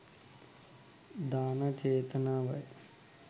දාන චේතනාව යි.